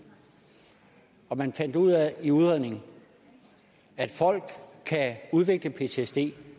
og man fandt ud af i udredningen at folk kan udvikle ptsd